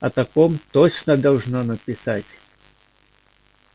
о таком точно должно написать